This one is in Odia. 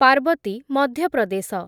ପାର୍ବତୀ, ମଧ୍ୟ ପ୍ରଦେଶ